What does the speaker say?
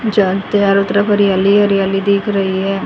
जहां चारों तरफ हरियाली ही हरियाली दिख रही है।